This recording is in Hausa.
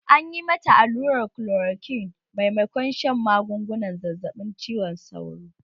An yi mata allurar kolorokwin maimakon shan magungunan zazzaɓin cizon sauro